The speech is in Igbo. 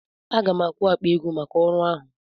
Aga m akwụ akpa ego maka ọrụ ahụ.